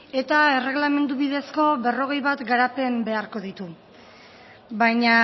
eta erregelamendu bidezko berrogei bat garapen beharko ditu baina